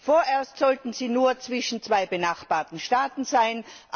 Vorerst sollten sie nur zwischen zwei benachbarten Staaten verkehren.